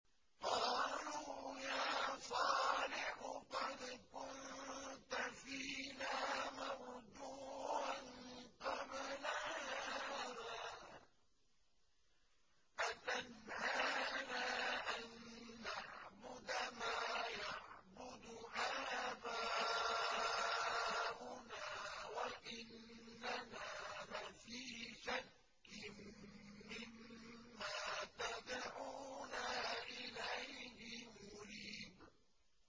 قَالُوا يَا صَالِحُ قَدْ كُنتَ فِينَا مَرْجُوًّا قَبْلَ هَٰذَا ۖ أَتَنْهَانَا أَن نَّعْبُدَ مَا يَعْبُدُ آبَاؤُنَا وَإِنَّنَا لَفِي شَكٍّ مِّمَّا تَدْعُونَا إِلَيْهِ مُرِيبٍ